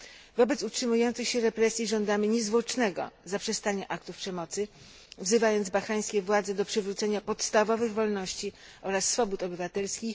Wobec utrzymujących się represji żądamy niezwłocznego zaprzestania aktów przemocy, wzywając bahrańskie władze do przywrócenia podstawowych wolności oraz swobód obywatelskich.